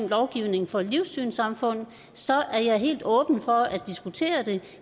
lovgivningen for livssynssamfund så er jeg helt åben over for at diskutere det